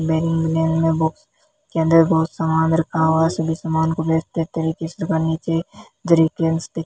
box के अंदर बहुत समान रखा हुआ है सभी समान को बेहतर तरीके से नीचे दिख --